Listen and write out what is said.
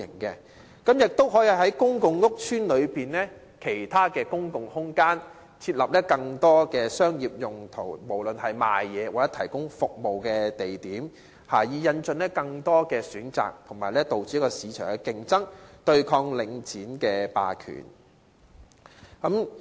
此外，亦可以考慮在公共屋邨內的其他公共空間設立更多作商業用途——不論是販賣貨物或提供服務——的地點，以引進更多選擇及促進市場競爭，對抗領展霸權。